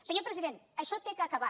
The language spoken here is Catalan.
senyor president això ha d’acabar